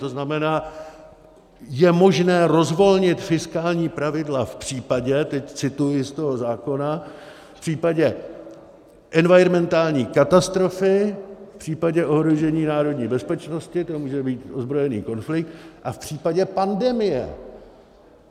To znamená, je možné rozvolnit fiskální pravidla v případě - teď cituji z toho zákona - v případě environmentální katastrofy, v případě ohrožení národní bezpečnosti - to může být ozbrojený konflikt - a v případě pandemie.